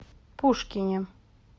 пушкине